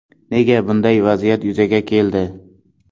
Nega bunday vaziyat yuzaga keldi?